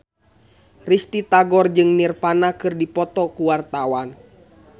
Risty Tagor jeung Nirvana keur dipoto ku wartawan